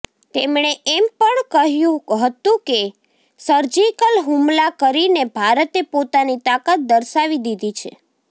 તેમણે એમ પણ કહ્યું હતું કે સર્જિકલ હુમલા કરીને ભારતે પોતાની તાકાત દર્શાવી દીધી છે